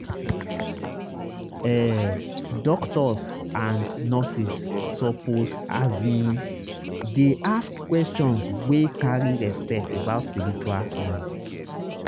ehh doctors and nurses suppose asin dey ask questions wey carry respect about spiritual needs.